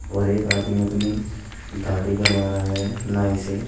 और एक आदमी अपनी दाढ़ी बनवा रहा है नाई से।